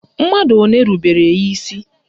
Mmadụ ole rubere ya isi?